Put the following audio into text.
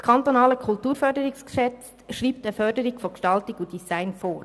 Das Kantonale Kulturförderungsgesetz (KKFG) schreibt eine Förderung von Gestaltung und Design vor.